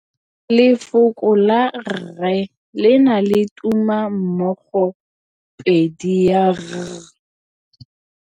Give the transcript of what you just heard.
Lefoko la rre le na le tumammogôpedi ya, r.